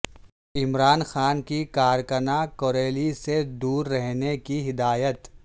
عمران خان کی کارکنان کوریلی سے دور رہنے کی ہدایت